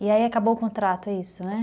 E aí acabou o contrato, é isso, né?